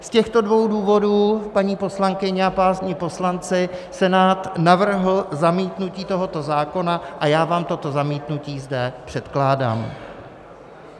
Z těchto dvou důvodů, paní poslankyně a páni poslanci, Senát navrhl zamítnutí tohoto zákona a já vám toto zamítnutí zde předkládám.